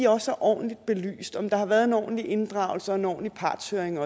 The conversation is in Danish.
også er ordentligt belyst om der har været en ordentlig inddragelse og en ordentlig partshøring